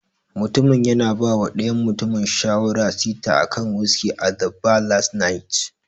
Mutumin yana bawa dayan mutumin shawarar sita akan wiski at the bar last night.